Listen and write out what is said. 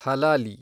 ಹಲಾಲಿ